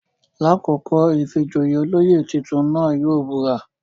Lakoko ìfijoyé, oloyè titun náa yóò bura